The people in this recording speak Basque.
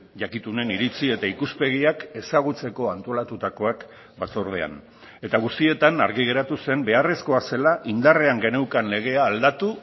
jakitunen iritzi eta ikuspegiak ezagutzeko antolatutakoak batzordean eta guztietan argi geratu zen beharrezkoa zela indarrean geneukan legea aldatu